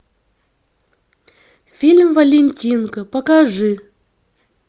фильм валентинка покажи